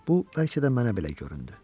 Bu bəlkə də mənə belə göründü.